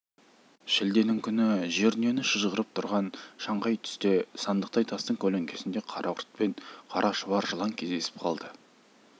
шілденің күні жер-дүниені шыжғырып тұрған шаңқай түсте сандықтай тастың көлеңкесінде қарақұрт пен қара шұбар жылан кездесіп қалды